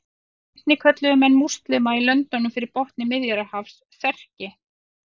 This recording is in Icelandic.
Einnig kölluðu menn múslíma í löndunum fyrir botni Miðjarðarhafs Serki.